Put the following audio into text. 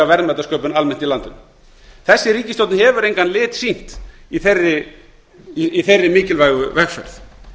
verðmætasköpun almennt í landinu þessi ríkisstjórn hefur engan lit sýnt í þeirri mikilvægu vegferð